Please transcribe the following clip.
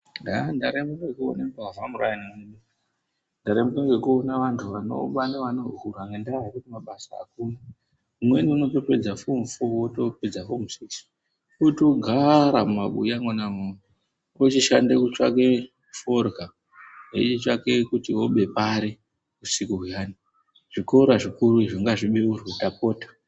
Haa ndaremba ngekuona mbavha muraini umu, ndaremba ngekuona vantu vanoba neanohura ngendaa yekuti mabasa akuna, umweni unotopedza fomu foo wotopedza fonu sikisi otogaara mumabuya mwona imwomwo ochishande kutsvake forya, echitsvake kuti obe pari usiku huyani. Zvikora zvikuru izvo ngazvibeurwe tapota.